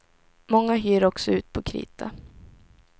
Många hyr också ut på krita.